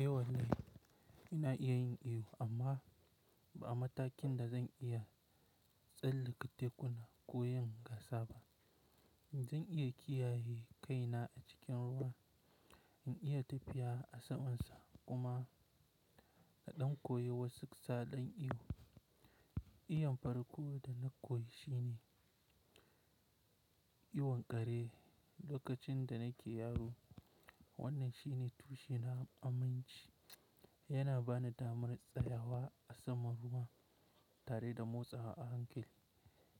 Eh, wallahi ina iya yin iyo amma ba a matakin da zan iya tsallake tekuna ko yin gasa ba. Zan iya kiyaye kaina a cikin ruwa, in iya tafiya a saman sa kuma na ɗankoye wasu sau ɗan iyo. Iyon farko da na koyi shine iyon kare lokacin da nake yaro. Wannan shine tushen aminci, yana bani damar tsayawa a saman ruwa tare da motsawa a hankali.